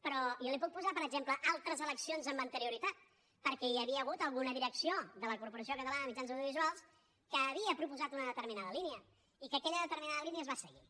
però jo li puc posar per exemple altres eleccions amb anterioritat perquè hi havia hagut alguna direcció de la corporació catalana de mitjans audiovisuals que havia proposat una determinada línia i que aquella determinada línia es va seguir